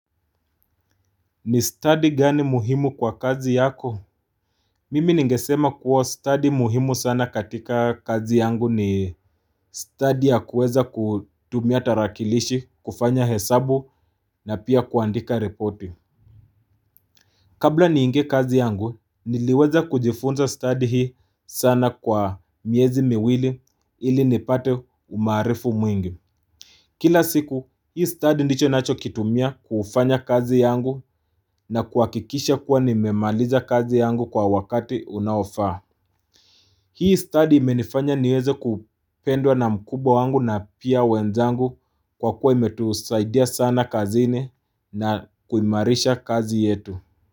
Ni stadi gani muhimu kwa kazi yako? Mimi nigesema kuwa stadi muhimu sana katika kazi yangu ni stadi ya kuweza kutumia tarakilishi, kufanya hesabu na pia kuandika ripoti. Kabla niinge kazi yangu, niliweza kujifunza stadi hii sana kwa miezi miwili ili nipate maarifu mwingi. Kila siku hii stadi ndicho nacho kitumia kufanya kazi yangu na kuhakikisha kuwa nimemaliza kazi yangu kwa wakati unaofa. Hii stadi imenifanya niweze kupendwa na mkubwa wangu na pia wenzangu kwa kuwa imetusaidia sana kazini na kuimarisha kazi yetu.